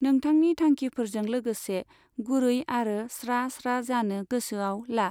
नोंथांनि थांखिफोरजों लोगोसे गुरै आरो स्रा स्रा जानो गोसोआव ला।